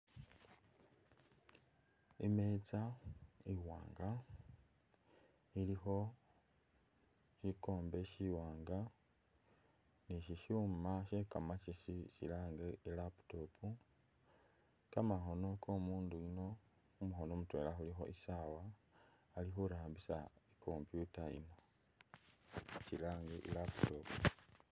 Imetsa iwanga ilikho shikombe shiwanga ni shishima shee kamakesi shilange i’laptop ,kamakhono komundu yuno khumukhono mutwela khulikho isawa akhurambisa i’computer ino kyilange i’laptop.